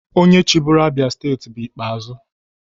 Onye chịburu Abia steeti bụ Ikpeazu.